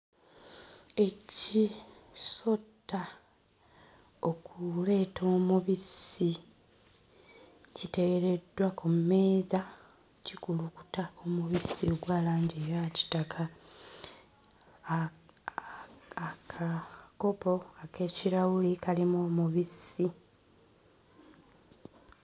Eki sotta okuleeta omubisi, kiteereddwa ku mmeeza kikulukuta omubisi ogwa langi eya kitaka. A a aka.....kopo ek'ekirawuli kalimu omubisi.